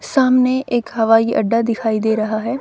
सामने एक हवाई अड्डा दिखाई दे रहा है।